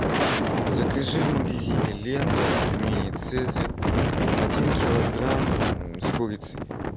закажи в магазине лента пельмени цезарь один килограмм с курицей